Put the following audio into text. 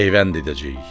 Peyvənd edəcəyik.